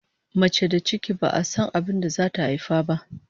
Mace da ciki, ba'a san abin da zata haifa ba!